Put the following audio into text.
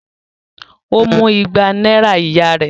Ó mú igba náírà ìyá rẹ̀?